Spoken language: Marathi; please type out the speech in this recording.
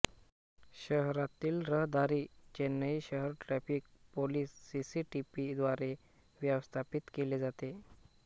शहरातील रहदारी चेन्नई शहर ट्रॅफिक पोलिस सीसीटीपी द्वारे व्यवस्थापित केली जाते